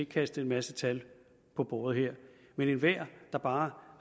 kaste en masse tal på bordet her men enhver der bare